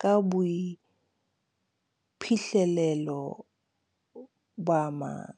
ka boiphihlelo ba a mang.